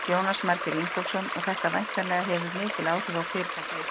Jónas Margeir Ingólfsson: Og þetta væntanlega hefur mikil áhrif á fyrirtækið ykkar?